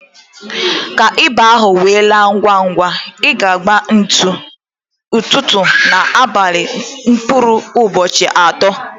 Ka ịba ahụ we laa ngwa ngwa, ị ga agba ntutu, ụtụtụ ná abalị mkpụrụ ụbọchị atọ